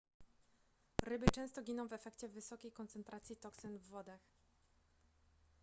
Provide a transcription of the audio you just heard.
ryby często giną w efekcie wysokiej koncentracji toksyn w wodach